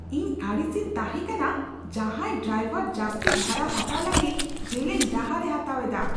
ᱤᱧ ᱟᱹᱲᱤᱥᱤᱧ ᱛᱟᱦᱮᱸ ᱠᱟᱱᱟ ᱡᱟᱸᱦᱟᱭ ᱰᱨᱟᱭᱵᱷᱟᱨ ᱡᱟᱹᱥᱛᱤ ᱵᱷᱟᱲᱟ ᱦᱟᱛᱟᱣ ᱞᱟᱹᱜᱤᱫ ᱡᱮᱞᱮᱧ ᱰᱟᱦᱟᱨᱮ ᱦᱟᱛᱟᱣᱮᱫᱟ ᱾